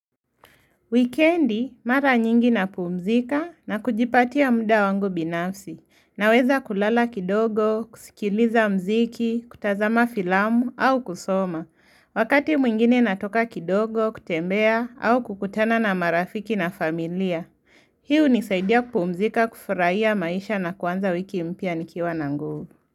Wikendi, mara nyingi na pumzika na kujipatia muda wangu binafsi. Naweza kulala kidogo, kusikiliza mziki, kutazama filamu au kusoma. Wakati mwingine natoka kidogo, kutembea au kukutana na marafiki na familia. Hii hunisaidia kumzika, kufuraiya maisha na kwanza wiki mpya nikiwa na nguvu.